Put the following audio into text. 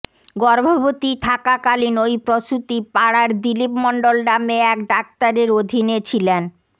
গর্ভবতী থাকা কালীন ওই প্রসূতি পাড়ার দিলীপ মণ্ডল নামে এক ডাক্তারের অধীনে ছিলেন